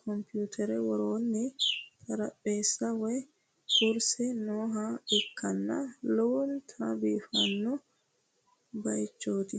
komputere worroonni xaraphesi woy kurse nooha ikkanna lowonta biifanno bayiichooti